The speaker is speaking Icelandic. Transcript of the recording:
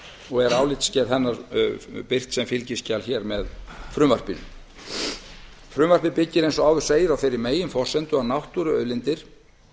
og er álitsgerð hennar birt sem fylgiskjal hér með frumvarpinu frumvarpið byggir eins og áður segir á þeirri meginforsendu að náttúruauðlindir